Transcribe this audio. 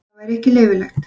Það væri ekki leyfilegt.